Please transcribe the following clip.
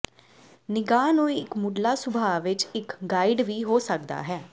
ਨਿਗਾਹ ਨੂੰ ਇੱਕ ਮੁੱਢਲਾ ਸੁਭਾਅ ਵਿੱਚ ਇੱਕ ਗਾਈਡ ਵੀ ਹੋ ਸਕਦਾ ਹੈ